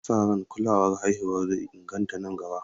Ana sa ran kulawar haihuwa zai inganta nan gaba.